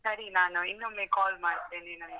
ಸರಿ ನಾನು ಇನ್ನೊಮ್ಮೆ call ಮಾಡ್ತೇನೆ ನಿಮ್ಗೆ.